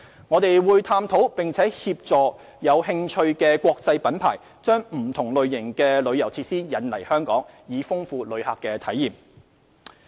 我們會探討並協助有興趣的國際品牌把不同類型的旅遊設施引入香港，以豐富旅客體驗。